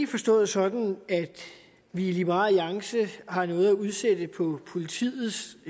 forstået sådan at vi i liberal alliance har noget at udsætte på politiets